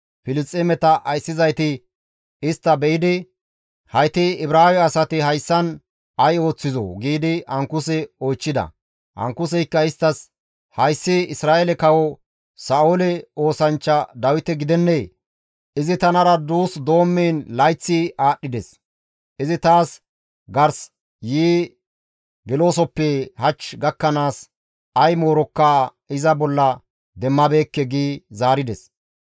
Filisxeemeta ayssizayti istta be7idi, «Hayti Ibraawe asati hayssan ay ooththizoo?» giidi Ankuse oychchida. Ankuseykka isttas, «Hayssi Isra7eele kawo Sa7oole oosanchcha Dawite gidennee? Izi tanara duus doommiin layththi aadhdhides; izi ta gars yi geloosofe hach gakkanaas ay moorokka iza bolla demmabeekke» gi zaarides.